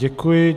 Děkuji.